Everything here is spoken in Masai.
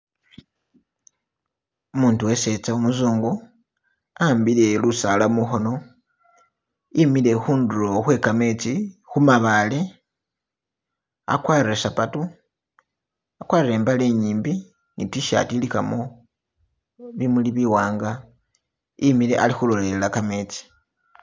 Umutu weseza umuzungu ahambile lusala mukhono emile khuduro khwegametsi khumabaale agwarile sapatu agwarile imbale inyimbi ni tishaati iligamo bimuli biwanga imile ali khulelela gametsi.